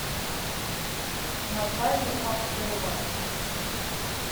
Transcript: наталья попкова